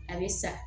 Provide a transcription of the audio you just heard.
A bɛ sa